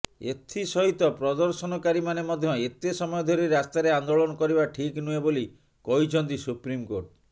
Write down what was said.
ଏଥିସହିତ ପ୍ରଦର୍ଶନକାରୀମାନେ ମଧ୍ୟ ଏତେ ସମୟ ଧରି ରାସ୍ତାରେ ଆନ୍ଦୋଳନ କରିବା ଠିକ୍ ନୁହେଁ ବୋଲି କହିଛନ୍ତି ସୁପ୍ରିମକୋର୍ଟ